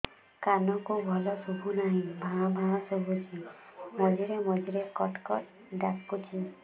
କାନକୁ ଭଲ ଶୁଭୁ ନାହିଁ ଭାଆ ଭାଆ ଶୁଭୁଚି ମଝିରେ ମଝିରେ କଟ କଟ ଡାକୁଚି